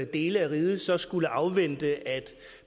dele af riget så skulle afvente at